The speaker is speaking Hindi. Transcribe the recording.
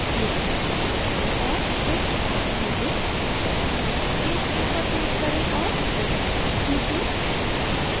ch1 पर click करें और fit तक खींचें